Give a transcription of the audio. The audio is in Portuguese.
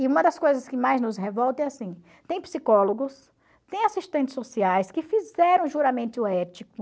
E uma das coisas que mais nos revolta é assim, tem psicólogos, tem assistentes sociais que fizeram juramento ético,